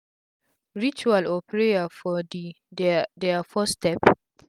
ritual or prayer for de dia dia first step